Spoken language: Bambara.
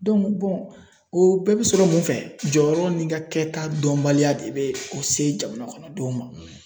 o bɛɛ bɛ sɔrɔ mun fɛ jɔyɔrɔ n'i ka kɛta dɔnbaliya de bɛ o se jamana kɔnɔ denw ma.